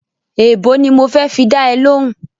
Èèbó ni mo fẹ́ fi dá ẹ lóhùn-ún